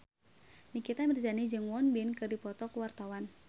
Nikita Mirzani jeung Won Bin keur dipoto ku wartawan